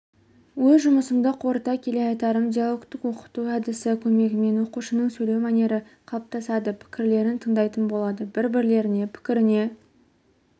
өз жұмысымды қорыта келе айтарым диалогтік оқыту әдісі көмегімен оқушының сөйлеу мәнері қалыптасады пікірлерін тыңдайтын болады бір-бірлерінің пікіріне